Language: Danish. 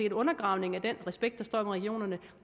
en undergravning af den respekt der står om regionerne